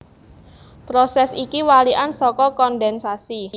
Prosès iki walikan saka kondhènsasi